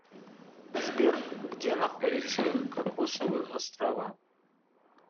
сбер где находится кокосовы острова